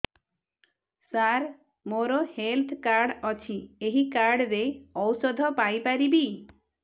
ସାର ମୋର health card ଅଛି ଏହି କାର୍ଡ ରେ ଔଷଧ ପାଇପାରିବି